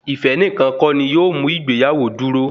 Ife nìkan kọ́ ni yóò mú ìgbéyàwó dúró